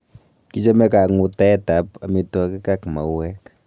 Kichome kang'utaet ab amitwakik ak maueek